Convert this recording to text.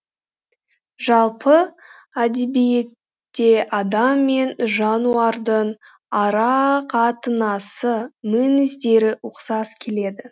жалпы әдебиетте адам мен жануардың ара қатынасы мінездері ұқсас келеді